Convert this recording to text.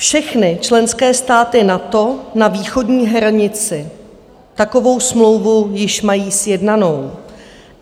Všechny členské státy NATO na východní hranici takovou smlouvu již mají sjednanou.